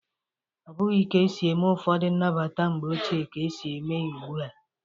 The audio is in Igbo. Ọbụghi ka esi eme ụfọdụ nnabata mgbe ochie ka e si eme ya ugbu a.